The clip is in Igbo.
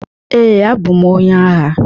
Ee, abụ m onye agha.